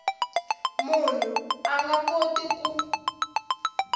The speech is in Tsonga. munhu a nga koti ku